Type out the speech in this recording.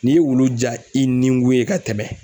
N'i ye wulu ja i niŋu ye ka tɛmɛ.